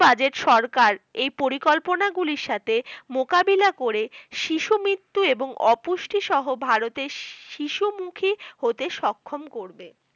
budget সরকার এই পরিকল্পনাগুলির সাথে মোকাবেলা করে শিশু মৃত্যু ও অপুষ্টিসহ সহ ভারতের শিশু মুখী হতে সক্ষম করবে